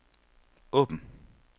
åbn